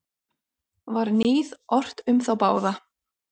Var níð ort um þá báða.